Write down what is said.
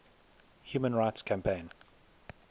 human rights campaign